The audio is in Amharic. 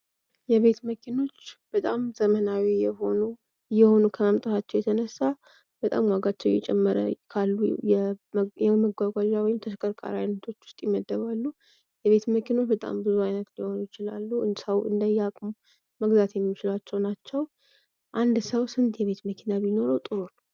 የቤት መኪኖች በጣም ዘመናዊ እየሆኑ ከመምጣታቸው የተነሳ በጣም ዋጋቸው እየጨመረ ካሉ የመጓጓዣ ወይም ተሽከርከሪ አይነቶች ውስጥ ይመደባሉ። የቤት መኪኖች በታም ብዙ አይነት ሊሆኑ ይችላሉ። ሰው እንደየአቅሙ መግዛት የሚችላቸው ናቸው። አንድ ሰው ስንት የቤት መኪና ቢኖረው ጥሩ ነው?